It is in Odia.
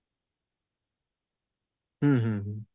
ହୁଁ ହୁଁ ହୁଁ